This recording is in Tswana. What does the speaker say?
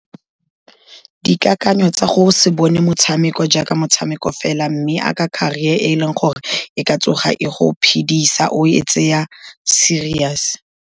Dikakanyo tsa gore se bone motshameko jaaka motshameko fela, mme jaaka caarer e e leng gore e ka tsoga e go phedisa, o e tseye serious.